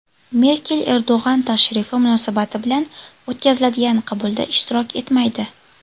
Merkel Erdo‘g‘on tashrifi munosabati bilan o‘tkaziladigan qabulda ishtirok etmaydi.